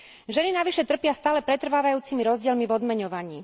Ženy navyše trpia stále pretrvávajúcimi rozdielmi v odmeňovaní.